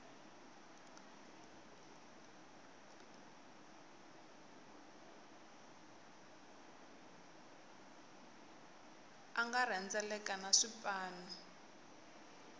a nga rhendzeleka na swipanu